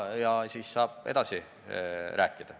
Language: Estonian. Ja siis saab edasi rääkida.